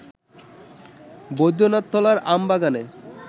বৈদ্যনাথতলার আমবাগানে